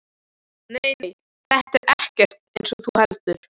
Nei, nei, þetta er ekkert eins og þú heldur.